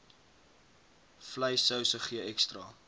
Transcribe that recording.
vleissouse gee ekstra